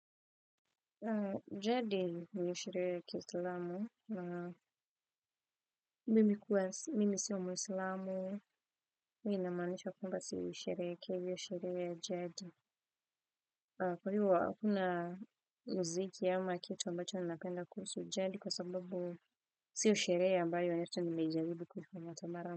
Jeddi ni sherehe ya kiislamu mimi kuwa, mimi sio muislamu, minamaanisha kwamba siisherehekei hiyo sherehe ya jeddi. Kwa hivyo hakuna mziki ama kitu ambacho napenda kuhusu jeddi kwa sababu siyosherehe ambayo hata nimeijaribu kuifanya hata mara.